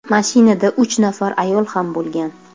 Mashinada uch nafar ayol ham bo‘lgan.